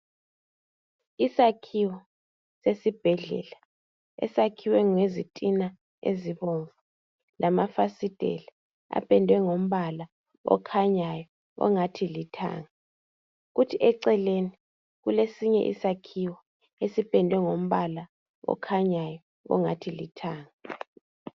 Isakhiwo sesibhedlela esakhiwe ngezitina ezibomvu lamafasitela apendwe ngombala okhanyayo ongathi lithanga kuthi eceleni kulesinye isakhaiwo esipendwe ngombala okhanyayo ongathi lithanga.